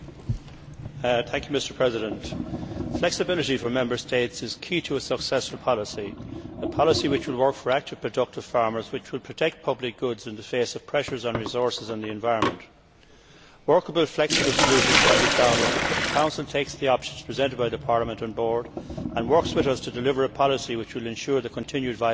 Mr President, flexibility for Member States is key to a successful policy, one which will work for active productive farmers and which will protect public goods in the face of pressures on resources and the environment. Workable, flexible solutions can be found if the Council takes the options presented by Parliament on board and works with us to deliver a policy which will ensure the continued viability of farming.